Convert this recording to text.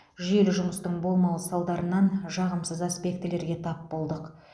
жүйелі жұмыстың болмауы салдарынан жағымсыз аспектілерге тап болдық